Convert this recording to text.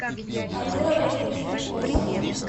артур олегович вильковский